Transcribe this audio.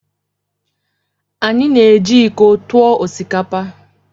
Anyị na-eji iko tụọ osikapa.